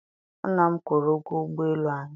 nna m kwụrụ ụgwọ ụgbọ elu anyị